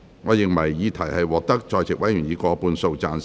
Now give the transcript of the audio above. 我認為議題獲得在席委員以過半數贊成。